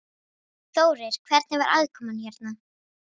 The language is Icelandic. Þórir: Hvernig var aðkoman hérna?